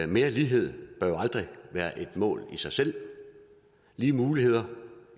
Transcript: mere lighed bør jo aldrig være et mål i sig selv lige muligheder